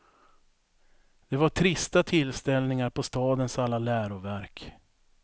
Det var trista tillställningar på stadens alla läroverk.